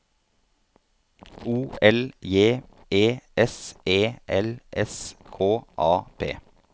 O L J E S E L S K A P